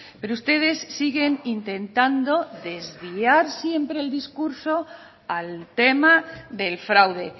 pero ustedes siguen intentando desviar siempre el discurso al tema del fraude